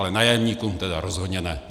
Ale nájemníkům teda rozhodně ne!